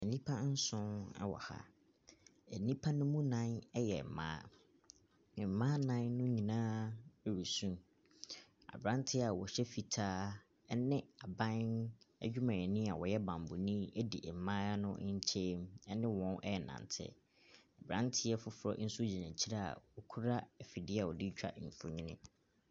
Nipa nsow ɛwɔ ha. Enipa ne mu nan ɛyɛ ɛmbaa. Mbaa nan no nyinaa ɛresu, abranteɛ a ɔhyɛ fitaa ɛne aban edwumayɛni a ɔyɛ banbɔ no edi mbaayewa no nkyen mu ɛne wɔn ɛɛnante. Abeanteɛ foforɔ ɛnso gyina ekyire a okura efidie a wɔde twa mfonin.